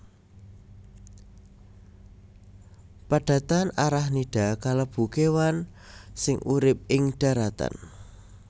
Padatan Arachnida kalebu kéwan sing urip ing dharatan